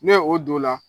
Ne o don la